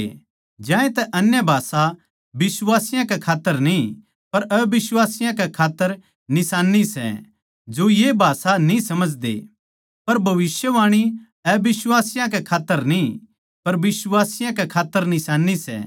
ज्यांतै अन्य भाषां बिश्वासियाँ कै खात्तर न्ही पर अबिश्वासियाँ कै खात्तर निशान्नी सै जो ये भाषा न्ही समझते पर भविष्यवाणी अबिश्वासियाँ कै खात्तर न्ही पर बिश्वासियाँ कै खात्तर निशान्नी सै